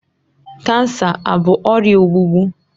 Kansa abụ ọrịa ogbugbu?